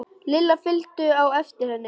Lilla fylgdu á eftir henni.